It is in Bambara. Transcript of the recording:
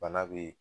Bana be